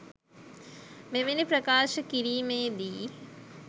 මෙවැනි ප්‍රකාශ කිරීමේ දී